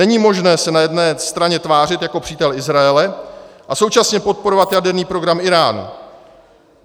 Není možné se na jedné straně tvářit jako přítel Izraele a současně podporovat jaderný program Íránu.